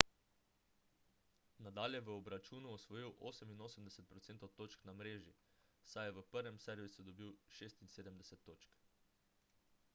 nadal je v obračunu osvojil 88 % točk na mreži saj je v prvem servisu dobil 76 točk